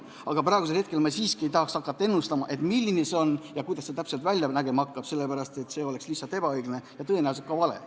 Aga praegu ma siiski ei tahaks hakata ennustama, milline see on ja kuidas see täpselt välja nägema hakkab, sest see oleks lihtsalt ebaõiglane ja tõenäoliselt ka vale.